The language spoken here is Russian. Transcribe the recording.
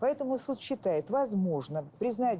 поэтому суд считает возможным признать